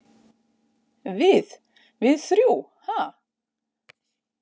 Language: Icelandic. Við- við þrjú, ha?